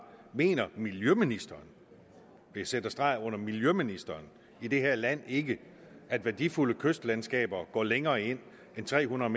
mener miljøministeren og jeg sætter streg under miljøministeren i det her land ikke at værdifulde kystlandskaber går længere ind end tre hundrede